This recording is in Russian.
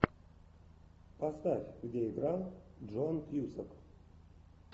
поставь где играл джон кьюсак